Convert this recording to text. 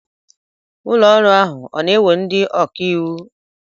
Ụlọọrụ ahụ ọ na-ewe ndị ọkaiwu?